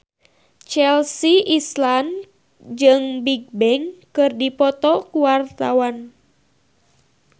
Chelsea Islan jeung Bigbang keur dipoto ku wartawan